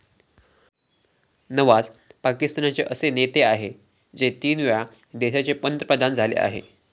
नवाज पाकिस्तानचे पहिले असे नेते आहे जे तीनवेळा देशाचे पंतप्रधान झाले आहे.